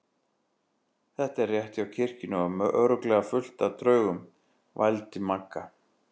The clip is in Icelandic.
Þetta er rétt hjá kirkjunni og örugglega fullt af draugum. vældi Magga.